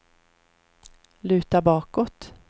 luta bakåt